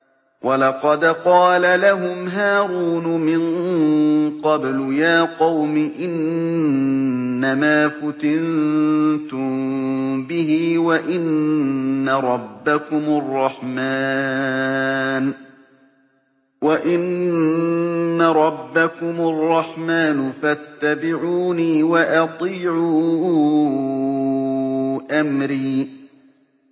وَلَقَدْ قَالَ لَهُمْ هَارُونُ مِن قَبْلُ يَا قَوْمِ إِنَّمَا فُتِنتُم بِهِ ۖ وَإِنَّ رَبَّكُمُ الرَّحْمَٰنُ فَاتَّبِعُونِي وَأَطِيعُوا أَمْرِي